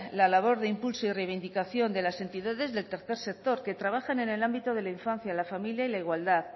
la labor de impulso y reivindicación de las entidades del tercer sector que trabajan en el ámbito de la infancia la familia y la igualdad